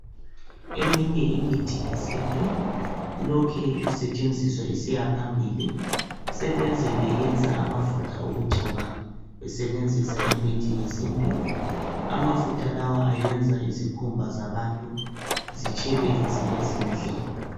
eminye imithi yesintu ilokhe isetshenziswa isiyaphambili sebeze beyenza amafutha okugcoba besebenzisa imithi yesintu amafutha lawa ayenza izikhumba zabantu zitshelele zibe zinhle